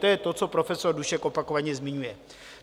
To je to, co profesor Dušek opakovaně zmiňuje.